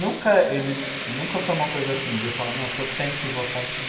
Nunca ele nunca foi uma coisa assim, de eu falar, não, o senhor tem que votar assim.